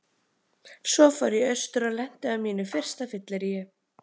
Svo fór ég austur og lenti á mínu fyrsta fylleríi.